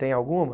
Tem alguma?